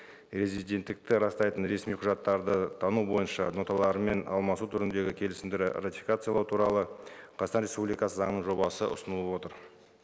резиденттікті растайтын ресми құжаттарды тану бойынша ноталарымен алмасу түріндегі келісімдер ратификациялау туралы қазақстан республикасы заңының жобасы ұсынылып отыр